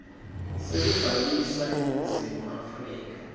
sekubhalisa eningizimu afrika